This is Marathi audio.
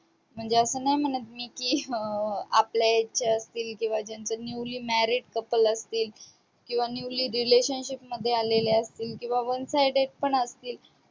म्हणजे असं नाही म्हणत मी की अं आपल्या age चे असतील किंवा ज्यांचं newly married couple असतील, किंवा newly relationship मध्ये आलेले असतील किंवा one sided पण असतील.